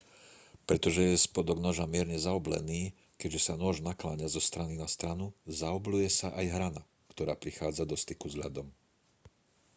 pretože je spodok noža mierne zaoblený keďže sa nôž nakláňa zo strany na stranu zaobľuje sa aj hrana ktorá prichádza do styku s ľadom